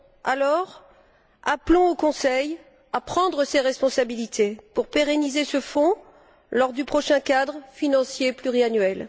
Alors, appelons le Conseil à prendre ses responsabilités pour pérenniser ce fonds lors du prochain cadre financier pluriannuel.